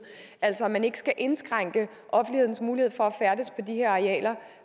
altså at man ikke skal indskrænke offentlighedens mulighed for at færdes på de her arealer